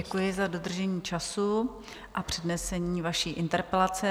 Děkuji za dodržení času a přednesení vaší interpelace.